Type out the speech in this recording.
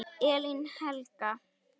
Elín Helga.